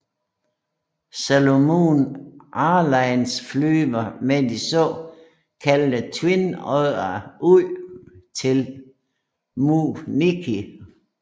Solomon Airlines flyver med de så kaldte Twin Oddere ud til Mu Ngiki